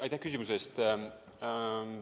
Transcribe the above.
Aitäh küsimuse eest!